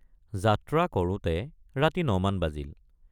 যাত্ৰা কৰোঁতে ৰাতি ৯ মান বাজিল।